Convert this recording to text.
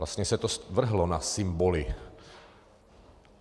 Vlastně se to zvrhlo na symboly.